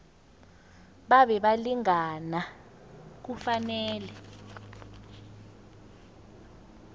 babe balingani kufanele